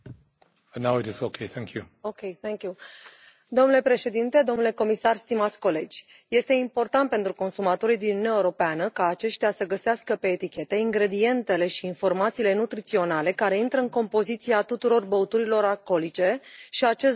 Domnule președinte, domnule comisar, stimați colegi, este important pentru consumatorii din Uniunea Europeană ca aceștia să găsească pe etichete ingredientele și informațiile nutriționale care intră în compoziția tuturor băuturilor alcoolice și acest lucru este necesar pentru a asigura un nivel ridicat